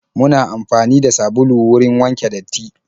Muna amfani da sabulu wurin wanke datti.